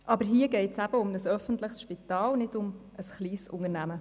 Aber hier geht es um ein öffentliches Spital, nicht um ein kleines Unternehmen.